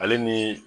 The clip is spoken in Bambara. Ale ni